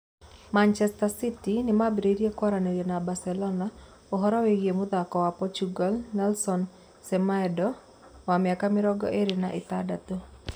(Calciomercato) Manchester City nĩmambĩrĩirie kwaranĩria na barcelona ũhoro wĩĩgiĩ mũthaki wa portugal Nelson Semedo, wa mĩaka mĩrongo ĩĩrĩ na ĩtandatũ